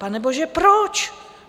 Panebože, proč?